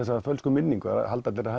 þessa fölsku minningu það halda allir að